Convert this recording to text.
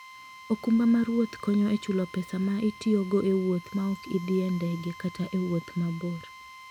okumba mar wuoth konyo e chulo pesa ma itiyogo e wuoth ma ok idhi e ndege kata e wuoth mabor.